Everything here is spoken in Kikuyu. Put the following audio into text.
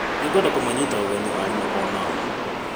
Nĩngwenda kũmanyita ũgeni arimũ onao.